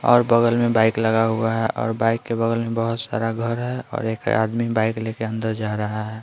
और बगल में बाइक लगा हुआ है और बाइक के बगल में बहुत सारा घर है और एक आदमी बाइक लेकर अंदर जा रहा है।